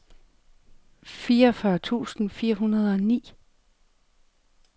fireogfyrre tusind fire hundrede og ni